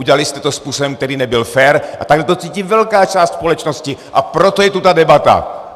Udělali jste to způsobem, který nebyl fér, a takhle to cítí velká část společnosti, a proto je tu ta debata!